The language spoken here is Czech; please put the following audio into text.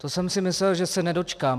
To jsem si myslel, že se nedočkám.